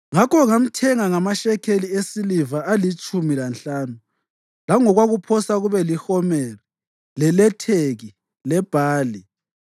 Ngakho ngamthenga ngamashekeli esiliva alitshumi lanhlanu langokwakuphosa kube lihomeri leletheki lebhali.